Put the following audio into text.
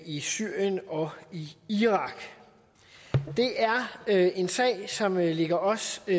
i syrien og i irak og det er en sag som ligger os i